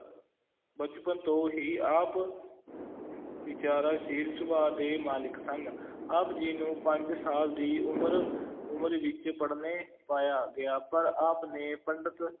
ਬਚਪਨ ਤੋਂ ਹੀ ਆਪ ਵਿਚਾਰਸ਼ੀਲ ਸੁਭਾਅ ਦੇ ਮਾਲਿਕ ਸਨ ਆਪ ਜੀ ਨੂੰ ਪੰਜ ਸਾਲ ਦੀ ਉਮਰ ਉਮਰ ਵਿੱਚ ਪੜ੍ਹਨੇ ਪਾਇਆ ਗਿਆ ਪਰ ਆਪ ਨੇ ਪੰਡਤ,